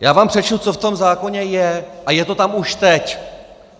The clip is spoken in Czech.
Já vám přečtu, co v tom zákoně je, a je to tam už teď!